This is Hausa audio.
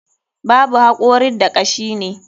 Babu hakorin da kashi ne.